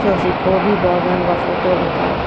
soh seh khobi bagan ga photo pah.